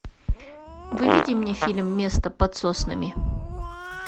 выведи мне фильм место под соснами